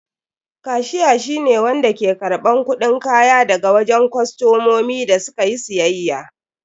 Kashiya shi ne wanda ke karban kudin kaya daga wajen kostomomi da su ka yi siyayya.